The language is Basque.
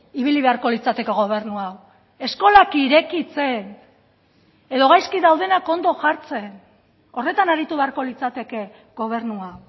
ibili beharko litzateke gobernu hau eskolak irekitzen edo gaizki daudenak ondo jartzen horretan aritu beharko litzateke gobernua